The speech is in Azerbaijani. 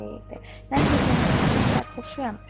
Mən bir məhəbbətin sərxoşuyam.